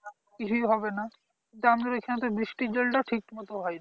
কিছুই হবে না কিন্তু আমাদের এখানে তো বৃষ্টির জল টাও ঠিক মতো হয় না